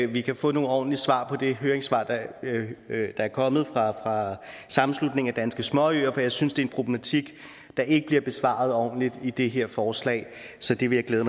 vi kan få nogle ordentlige svar på det høringssvar der er kommet fra sammenslutningen af danske småøer for jeg synes det er en problematik der ikke bliver besvaret ordentligt i det her forslag så det vil jeg